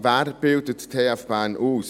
Wen bildet die TF Bern aus?